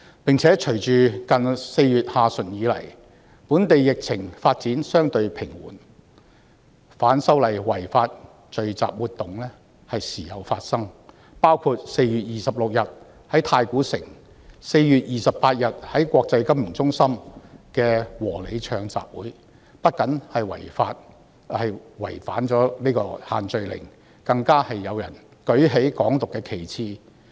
再者，隨着4月下旬以來，本地疫情發展相對平緩，反修例違法聚集活動時有發生，包括4月26日在太古城及4月28日在國際金融中心的"和你唱"集會，不僅違反"限聚令"，更有人舉起"港獨"的旗幟。